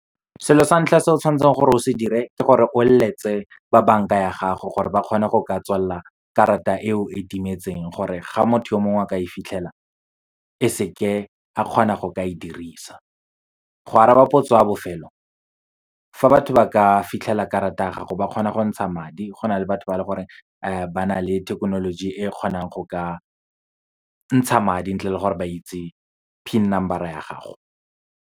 Selo sa ntlha se o tshwanetseng gore o se dire ke gore, o leletse ba banka ya gago gore ba kgone go ka tswalela karata eo e timetseng, gore ga motho yo mongwe a ka e fitlhela e seke a kgona go ka e dirisa. Go araba potso ya bofelo, fa batho ba ka fitlhela karata ya gago ba kgona go ntsha madi, go na le batho ba e leng gore ba na le thekenoloji e kgonang go ka ntsha madi, ntle le gore ba itse PIN number-a ya gago.